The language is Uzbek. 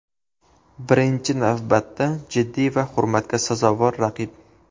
Birinchi navbatda jiddiy va hurmatga sazovor raqib.